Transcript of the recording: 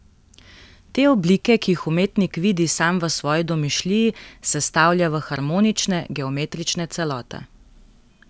Te oblike, ki jih umetnik vidi sam v svoji domišljiji, sestavlja v harmonične, geometrične celote.